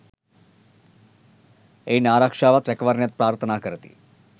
එයින් ආරක්‍ෂාවත් රැකවරණයත් ප්‍රාර්ථනා කරති.